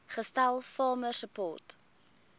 gestel farmer support